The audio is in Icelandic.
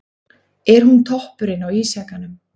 Er hún toppurinn á ísjakanum?